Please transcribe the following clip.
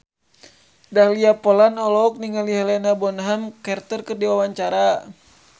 Dahlia Poland olohok ningali Helena Bonham Carter keur diwawancara